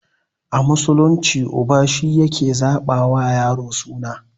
A musulunci uba shi yake zaɓa wa yaro suna